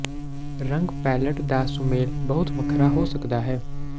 ਰੰਗ ਪੈਲਅਟ ਦਾ ਸੁਮੇਲ ਬਹੁਤ ਵੱਖਰਾ ਹੋ ਸਕਦਾ ਹੈ